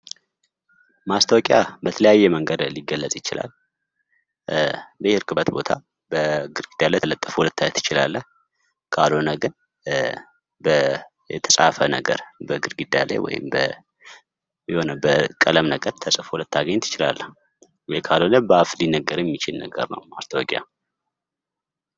ማስታወቂያ በተለያየ መንገድ ሊገለፅ ይችላል፦ በሄድክበት ቦታ በግርግዳ ላይ ተለጥፈው ልታይ ትችላለህ። ካልሆነ ግን የተፃፈ ነገር በግድግዳ ላይ ወይም በቀለም ነገር የተጻፈ ሆኖ ልታገኝ ትችላለህ። ወይም ካልሆነ በአፍ የሚነገር ነው ማስታወቂያ።